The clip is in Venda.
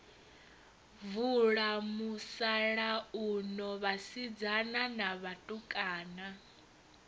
vula musalauno vhasidzana na vhatukana